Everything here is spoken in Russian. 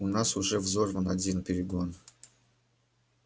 у нас уже взорван один перегон